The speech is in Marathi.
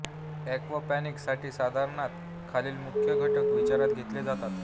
एक्वापाॅनिक्ससाठी साधारणतः खालील मुख्य घटक विचारात घेतले जातात